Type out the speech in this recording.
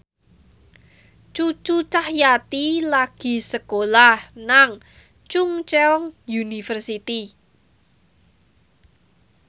Cucu Cahyati lagi sekolah nang Chungceong University